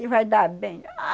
E vai dar bem? Ah...